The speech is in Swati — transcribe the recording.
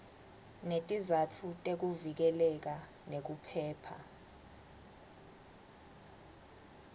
netizatfu tekuvikeleka nekuphepha